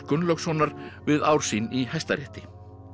Gunnlaugssonar við ár sín í Hæstarétti